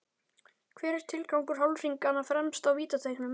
Hver er tilgangur hálfhringanna fremst á vítateigunum?